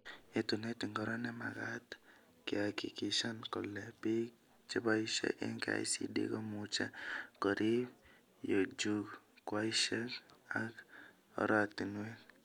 Yetunet ingiro nemagat kehakikishan kole bik cheboishee eng KICD komuch korib jukwaishek ak oratinwek